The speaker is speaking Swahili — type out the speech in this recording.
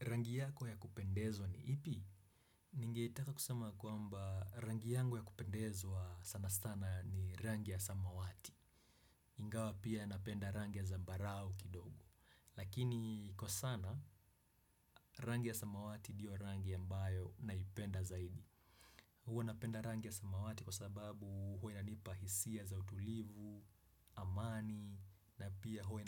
Rangi yako ya kupendezwa ni ipi? Ninge itaka kusema kwamba rangi yangu ya kupendezwa sana sana ni rangi ya samawati. Ingawa pia napenda rangi ya zambarau kidogo lakini kwa sana rangi ya samawati ndiyo rangi ambayo naipenda zaidi. Huo napenda rangi ya samawati kwa sababu huwa inanipa hisia za utulivu, amani. Na pia huwa